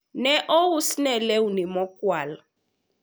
ne ousne lewni mokwal